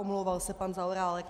Omlouval se pan Zaorálek.